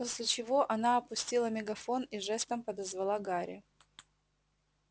после чего она опустила мегафон и жестом подозвала гарри